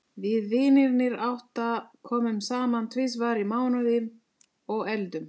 Við vinirnir átta komum saman tvisvar í mánuði og eldum.